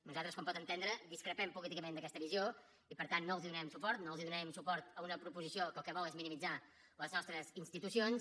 nosaltres com pot entendre discrepem políticament d’aquesta visió i per tant no els donarem suport no els donarem suport en una proposició que el que vol és minimitzar les nostres institucions